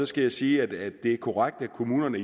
skal sige at det er korrekt at kommunerne